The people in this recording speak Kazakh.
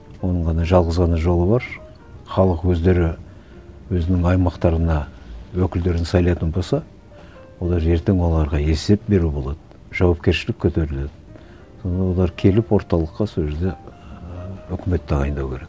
оның ғана жалғыз ғана жолы бар халық өздері өзінің аймақтарына өкілдерін сайлайтын болса олар ертең оларға есеп беру болады жауапкершілік көтеріледі содан олар келіп орталыққа сол жерде ііі өкімет тағайындау керек